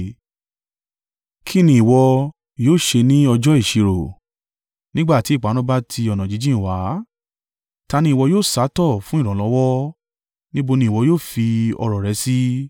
Kí ni ìwọ yóò ṣe ní ọjọ́ ìṣirò nígbà tí ìparun bá ti ọ̀nà jíjìn wá? Ta ni ìwọ yóò sá tọ̀ fún ìrànlọ́wọ́? Níbo ni ìwọ yóò fi ọrọ̀ rẹ sí?